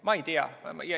Ma ei tea.